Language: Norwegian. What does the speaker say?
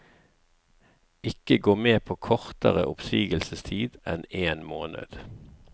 Ikke gå med på kortere oppsigelsestid enn en måned.